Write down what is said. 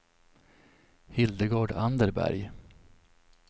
Hildegard Anderberg